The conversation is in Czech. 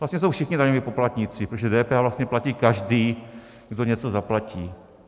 Vlastně jsou všichni daňoví poplatníci, protože DPH vlastně platí každý, kdo něco zaplatí.